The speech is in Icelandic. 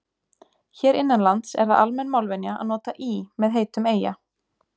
Hér innanlands er það almenn málvenja að nota í með heitum eyja.